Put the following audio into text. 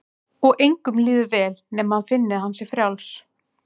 Og engum líður vel nema hann finni að hann sé frjáls.